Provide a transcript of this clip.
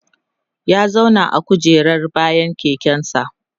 ya zauna a kujerar bayan keken sa